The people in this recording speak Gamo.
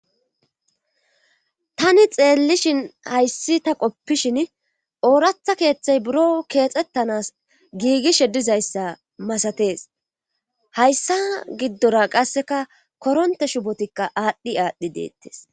Tani xeellishin hayssi ta qopishin ooratha keeththay buro keexettanas giigishe dizayssa masatees hayssa giddora qasseka koronte shubotikka aadhdhi aadhdhi deettes